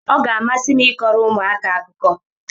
Ọ ga-amasị m ịkọrọ ụmụaka akụkọ